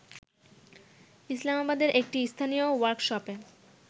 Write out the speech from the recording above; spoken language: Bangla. ইসলামাবাদের একটি স্থানীয় ওয়ার্কশপে